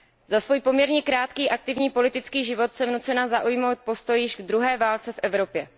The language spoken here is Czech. Za svůj poměrně krátký aktivní politický život jsem nucena zaujmout postoj k již druhé válce v Evropě.